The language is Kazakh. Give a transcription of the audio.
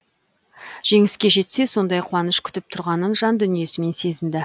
жеңіске жетсе сондай қуаныш күтіп тұрғанын жан дүниесімен сезінді